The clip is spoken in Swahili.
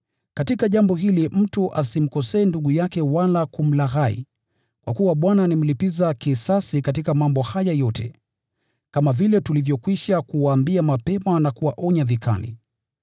Katika jambo hili mtu asimkosee ndugu yake wala kumlaghai. Kwa kuwa Bwana ni mlipiza kisasi katika mambo haya yote, kama vile tulivyokwisha kuwaambia mapema na kuwaonya vikali.